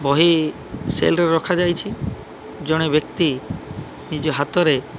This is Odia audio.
ବହି ସେଲ ରେ ରଖାଯାଇଛି ଜଣେ ବ୍ୟକ୍ତି ନିଜ ହାତରେ --